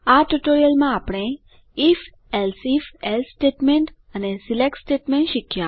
આ ટ્યુટોરીયલમાં આપણે આઇએફ એલ્સેઇફ એલ્સે સ્ટેટમેન્ટ અને સિલેક્ટ સ્ટેટમેન્ટ શીખ્યા